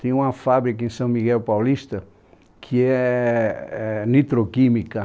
Tem uma fábrica em São Miguel Paulista que é é nitroquímica.